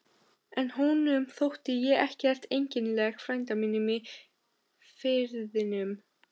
En honum þótti ég ekkert einkennileg frænda mínum í Firðinum.